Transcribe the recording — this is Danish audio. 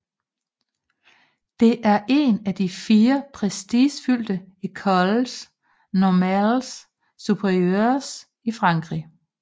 Det er en af de fire prestigefyldte écoles normales supérieures i Frankrig